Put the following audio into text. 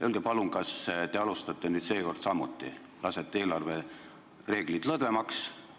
Öelge palun, kas te alustate nüüd seekord samuti, et lasete eelarvereeglid lõdvemaks.